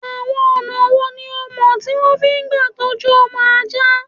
Àwọn ọ̀nà wò ni ìọ mọ̀ tí wọ́n fi ń gbà tọjú ọmọ ajá?